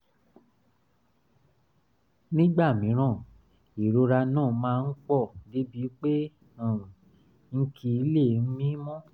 nígbà mìíràn ìrora náà máa ń pọ̀ débi pé um n kì í lè mí mọ́